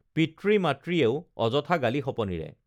পিতৃ মাতৃয়েও অযথা গালি শপনিৰে